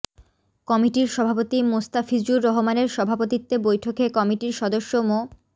কমিটির সভাপতি মোস্তাফিজুর রহমানের সভাপতিত্বে বৈঠকে কমিটির সদস্য মো